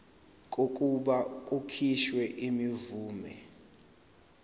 kokuba kukhishwe imvume